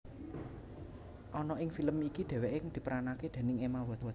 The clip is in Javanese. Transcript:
Ana ing film iki dheweke diperanake déning Emma Watson